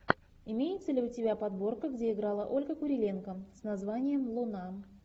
имеется ли у тебя подборка где играла ольга куриленко с названием луна